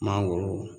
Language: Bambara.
Mangoro